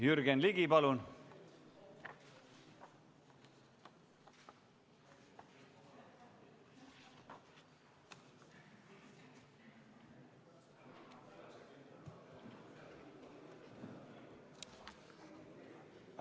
Jürgen Ligi, palun!